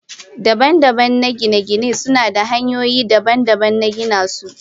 Daban-daban na gine-gine suna da hanyoyi daban-daban na gina su